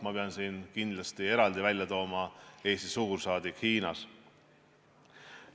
Ma pean siin kindlasti eraldi välja tooma Eesti suursaadiku Hiinas.